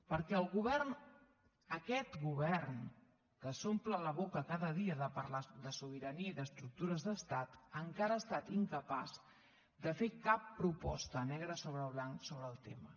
perquè el govern aquest govern que s’omple la boca cada dia de parlar de sobirania i d’estructures d’estat encara ha estat incapaç de fer cap proposta negre sobre blanc sobre el tema